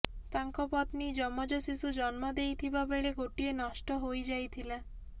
ତାଙ୍କ ପତ୍ନୀ ଯମଜ ଶିଶୁ ଜନ୍ମ ଦେଇଥିବା ବେଳେ ଗୋଟିଏ ନଷ୍ଟ ହୋଇ ଯାଇଥିଲା